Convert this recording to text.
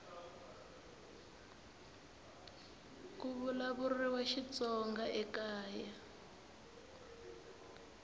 ku vulavuriwa xitsonga ekaya